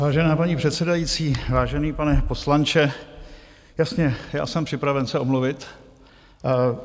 Vážená paní předsedající, vážený pane poslanče, jasně, já jsem připraven se omluvit.